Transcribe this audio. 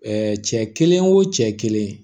cɛ kelen o cɛ kelen